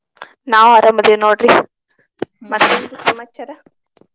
ನಾವು ಅರಾಮ ಅದೇವ ನೋಡ್ರಿ ಮತ್ತೆನ್ರೀ ಸಮಾಚಾರಾ?